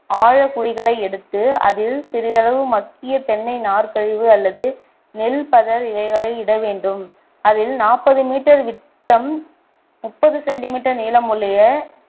ஆழ குழிகளை எடுத்து அதில் சிறிதளவு மக்கிய தென்னை நார்கழிவு அல்லது நெல் படர் இலைகளை இட வேண்டும் அதில் நாற்பது meter விட்டம் முப்பது centimeter நீளமுள்ள